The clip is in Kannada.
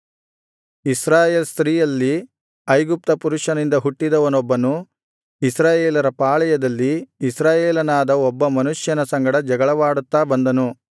ಇಸ್ರಾಯೇಲ್ ಸ್ತ್ರೀಯಲ್ಲಿ ಐಗುಪ್ತ ಪುರುಷನಿಂದ ಹುಟ್ಟಿದವನೊಬ್ಬನು ಇಸ್ರಾಯೇಲರ ಪಾಳೆಯದಲ್ಲಿ ಇಸ್ರಾಯೇಲನಾದ ಒಬ್ಬ ಮನುಷ್ಯನ ಸಂಗಡ ಜಗಳವಾಡುತ್ತಾ ಬಂದನು